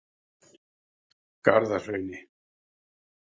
Garðahrauni